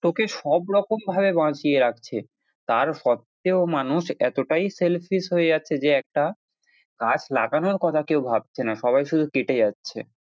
তোকে সবরকম ভাবে বাঁচিয়ে রাখছে তার সত্ত্বেও মানুষ এতটাই selfish হয়ে যাচ্ছে যে একটা গাছ লাগানোর কথা কেউ ভাবছে না সবাই শুধু কেটে যাচ্ছে।